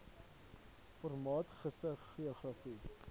formaat gis geografiese